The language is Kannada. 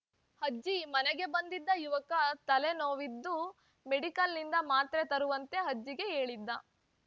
ಅಜ್ಜಿ ಮನೆಗೆ ಬಂದಿದ್ದ ಯುವಕ ತಲೆ ನೋವಿದ್ದು ಮೆಡಿಕಲ್‌ನಿಂದ ಮಾತ್ರೆ ತರುವಂತೆ ಅಜ್ಜಿಗೆ ಹೇಳಿದ್ದ